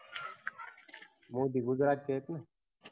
मोदी गुजरातचेत ना